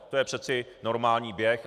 To je přeci normální běh.